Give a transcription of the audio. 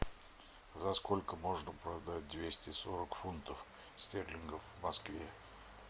за сколько можно продать двести сорок фунтов стерлингов в москве